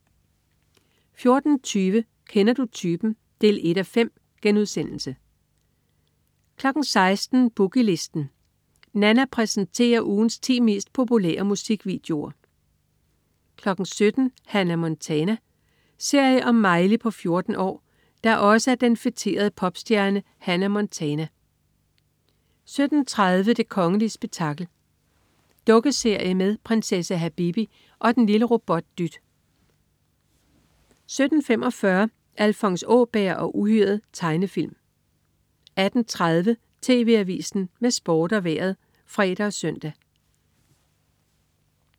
14.20 Kender du typen? 1:5* 16.00 Boogie Listen. Nanna præsenterer ugens ti mest populære musikvideoer 17.00 Hannah Montana. Serie om Miley på 14 år, der også er den feterede popstjerne Hannah Montana 17.30 Det kongelige spektakel. Dukkeserie med prinsesse Habibi og og den lille robot Dyt 17.45 Alfons Åberg og uhyret. Tegnefilm 18.30 TV AVISEN med Sport og Vejret (fre og søn)